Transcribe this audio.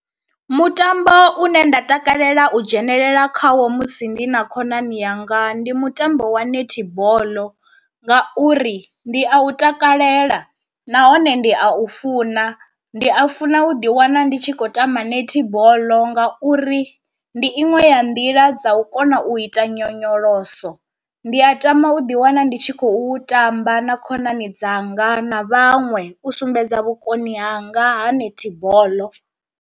Mutambo une nda takalela u dzhenelela khawo musi ndi na khonani yanga ndi mutambo wa netball, ngauri ndi a u takalela nahone ndi a u funa, ndi a funa u ḓi wana ndi tshi khou tamba netball nga uri ndi iṅwe ya nḓila dza u kona u ita nyonyoloso, ndi a tama u ḓi wana ndi tshi khou u tamba na khonani dzanga na vhaṅwe u sumbedza vhukoni hanga ha netball.